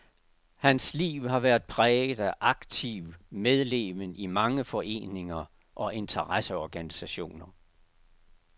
Hans liv har været præget af aktiv medleven i mange foreninger og interesseorganisationer.